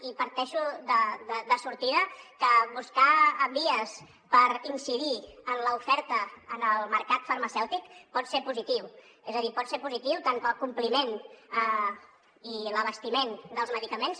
i parteixo de sortida que buscar vies per incidir en l’oferta en el mercat farmacèutic pot ser positiu és a dir pot ser positiu tant pel compliment i l’abastiment dels medicaments